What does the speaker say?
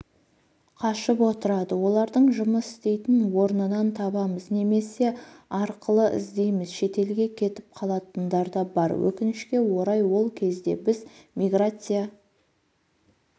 қашып отырады оларды жұмыс істейтін орнынан табамыз немесе арқылы іздейміз шетелге кетіп қалатындар да бар өкінішке орай ол кезде біз миграция